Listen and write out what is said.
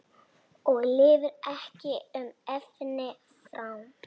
Og lifir ekki um efni fram?